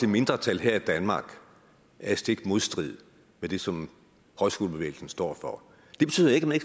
mindretal her i danmark er i stik modstrid med det som højskolebevægelsen står for det betyder ikke at man